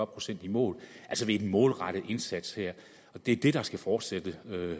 procent i mål altså ved en målrettet indsats her det er det der skal fortsætte